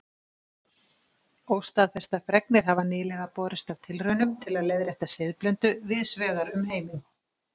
Óstaðfestar fregnir hafa nýlega borist af tilraunum til að leiðrétta siðblindu víðs vegar um heiminn.